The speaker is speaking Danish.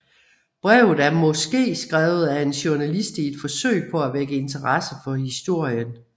Brevet er måske skrevet af en journalist i et forsøg på at vække interesse for historien